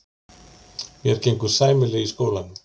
Mér gengur sæmilega í skólanum.